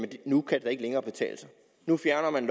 nu kan det da ikke længere betale sig nu fjerner man